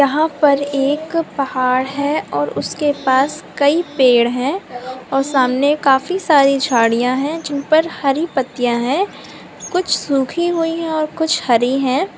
यहां पर एक पहाड़ है और उसके पास कई पेड़ और सामने काफी सारी झारिया है जिनपे हरी पत्तियां है कुछ सुखी हुई है कुछ हरी है|